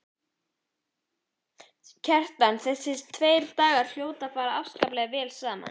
Kjartan: Þessir tveir dagar hljóta að fara afskaplega vel saman?